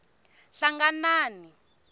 hlanganani